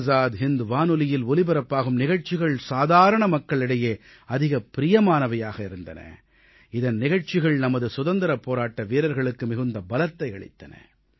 ஆஸாத் ஹிந்த் வானொலியில் ஒலிபரப்பாகும் நிகழ்ச்சிகள் சாதாரண மக்களிடையே அதிகப் பிரியமானதாக இருந்தது இதன் நிகழ்ச்சிகள் நமது சுதந்திரப் போராட்ட வீரர்களுக்கு மிகுந்த பலத்தை அளித்தன